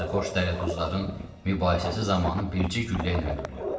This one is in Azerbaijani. Sərxoş dərəduzların mübahisəsi zamanı bircə güllə ilə öldürülüb.